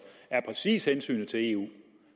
præcis er hensynet til eu